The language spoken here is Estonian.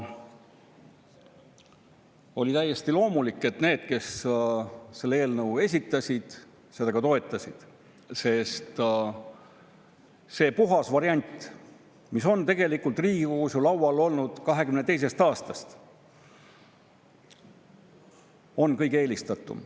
Oli täiesti loomulik, et need, kes selle eelnõu esitasid, seda ka toetasid, sest see puhas variant, mis on Riigikogus laual olnud ju tegelikult 2022. aastast, on kõige eelistatum.